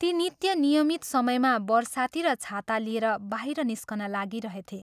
ती नित्य नियमित समयमा बरसाती र छाता लिएर बाहिर निस्कन लागिरहेथे।